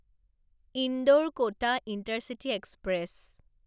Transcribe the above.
ইন্দোৰ কটা intercity express